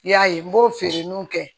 I y'a ye n b'o feere n'o kɛ